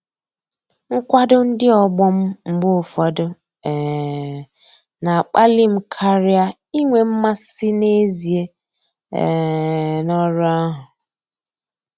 Nkwado ndị ọgbọ m mgbe ụfọdụ um na-akpali m karịa inwe mmasị n'ezie um n'ọrụ ahụ.